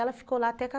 Ela ficou lá até